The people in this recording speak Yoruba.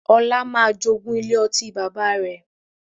Ọlá máa jogún ilé ọtí bàbá rẹ̀